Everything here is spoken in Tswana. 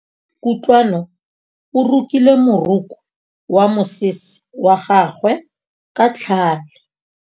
Kutlwanô o rokile morokô wa mosese wa gagwe ka tlhale.